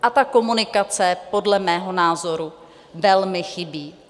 A ta komunikace podle mého názoru velmi chybí.